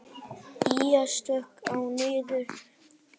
Ýja, slökktu á niðurteljaranum.